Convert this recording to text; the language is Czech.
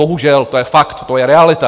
Bohužel to je fakt, to je realita.